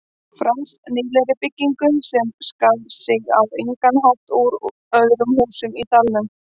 Frans, nýlegri byggingu sem skar sig á engan hátt úr öðrum húsum í dalnum.